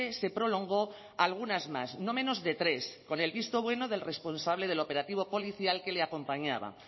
se prolongó algunas más no menos de tres con el visto bueno del responsable del operativo policial que le acompañaba